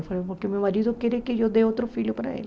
Eu falei, porque meu marido quer que eu dê outro filho para ele.